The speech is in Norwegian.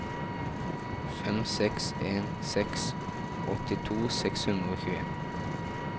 fem seks en seks åttito seks hundre og tjueen